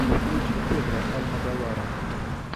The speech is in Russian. включи педро альмодовара